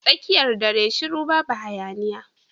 Tsakiyar dare shiru babu hayaniya.